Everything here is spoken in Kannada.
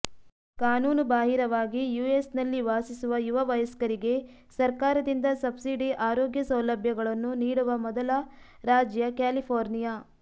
ಕಾನೂನುಬಾಹಿರವಾಗಿ ಯುಎಸ್ನಲ್ಲಿ ವಾಸಿಸುವ ಯುವ ವಯಸ್ಕರಿಗೆ ಸರ್ಕಾರದಿಂದ ಸಬ್ಸಿಡಿ ಆರೋಗ್ಯ ಸೌಲಭ್ಯಗಳನ್ನು ನೀಡುವ ಮೊದಲ ರಾಜ್ಯ ಕ್ಯಾಲಿಫೋರ್ನಿಯಾ